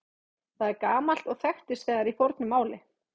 Það er gamalt og þekkist þegar í fornu máli.